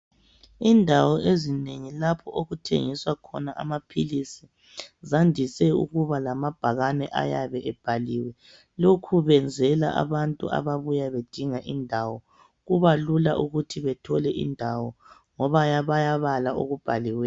Indawo ezinengi lapho okuthengiswa khona amaphilisi zandise ukuba lamabhakane ayabe ebhaliwe. Lokhu benzela abantu ababuya bedinga indawo, kuba lula ukuthi bethole indawo ngoba bayabala okubhaliweyo.